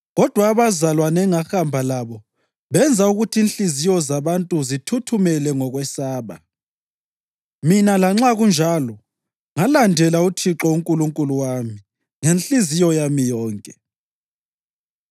kodwa abazalwane engahamba labo benza ukuthi inhliziyo zabantu zithuthumele ngokwesaba. Mina, lanxa kunjalo, ngalandela uThixo uNkulunkulu wami ngenhliziyo yami yonke.